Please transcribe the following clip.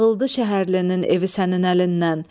Dağıldı şəhlinin evi sənin əlindən.